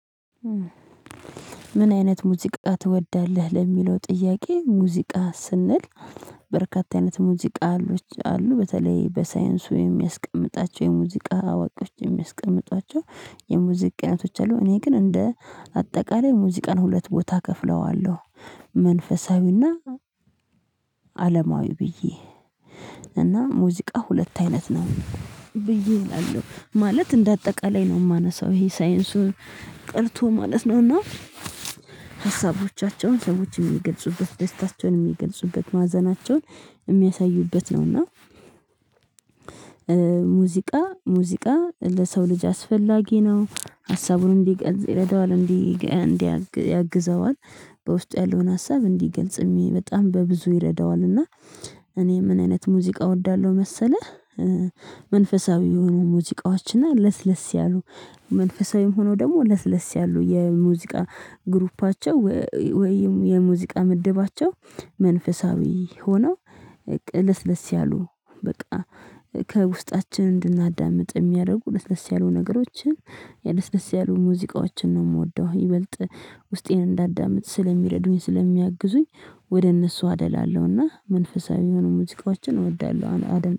ምን አይነት ሙዚቃ ትወዳለህ? ለሚለው ጥያቄ ሙዚቃ ስንል በርካታ አይነት ሙዚቃ አሉ በተለይ በሳይንሱ የሚያስቀምጣቸው የሙዚቃ አዋቂዎች የሚያስቀምጧቸው የሙዚቃ አይነቶች አሉ። እኔ ግን እንደ አጠቃላይ ሙዚቃን ሁለት ቦታ እከፍለዋለሁ። መንፈሳዊና አለማዊ ብዬ እና ሙዚቃ ሁለት አይነት ነው። ብዬ እላለሁ ማለት እንደ አጠቃላይ ነው የማነሳው ይሄ ሳይንሱን ቀርቶ ማለት ነው እና ነውና ሀሳቦቻቸውን ሰዎችን የሚገልጹበት ደስታቸውን የሚገልጹበት ማዘናቸውን የሚያሳዩበት ነውና። ሙዚቃ ሙዚቃ ለሰው ልጅ አስፈላጊ ነው ሀሳቡን እንዲገልጽ ይረደዋል እንዲያግዘዋል በውስጡ ያለውን ሀሳብ እንዲገልጽ በጣም በብዙ ይረዳዋል። እና እኔ ምን አይነት ሙዚቃ እወዳለሁ መሰለህ? መንፈሳዊ የሆኑ ሙዚቃዎችና ለስለስ ያሉ መንፈሳዊም ሆኖ ደግሞ ለስለስ ያሉ የሙዚቃ ግሩፓቸው ወይም የሙዚቃ ምድባቸው መንፈሳዊ ሆነው ለስለስ ያሉ በቃ ከውስጣችን እንድናዳምጥ የሚያደርጉ ለስለስ ያሉ ነገሮችን የደስ ደስ ያሉ ሙዚቃዎችን ነው የምወደው። ይበልጥ ውስጤን እንዳዳምጥ ስለሚረዱኝ ስለሚያግዙኝ ወደ እነሱ አደላለሁና መንፈሳዊ የሆኑ ሙዚቃዎችን እወዳለሁ። አደም